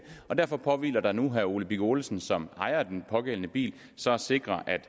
derfor påhviler det nu herre ole birk olesen som ejer af den pågældende bil så at sikre at